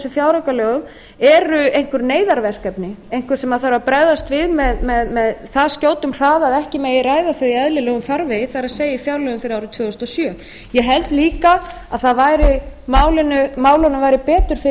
fjáraukalögum eru einhver neyðarverkefni einhver sem þarf að bregðast við með það skjótum hraða að ekki megi ræða þau í eðlilegum farvegi það er í fjárlögum fyrir árið tvö þúsund og sjö ég held líka að málunum væri betur fyrir